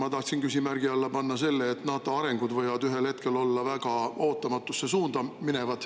Ma tahtsin küsimärgi alla panna selle, et NATO arengud võivad ühel hetkel minna väga ootamatusse suunda.